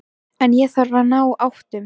En ég þarf að ná áttum.